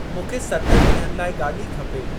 मूंखे सतनि ॾींहनि लाइ गाॾी खपे।